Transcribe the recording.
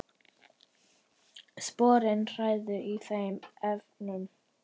Sporin hræða í þeim efnum.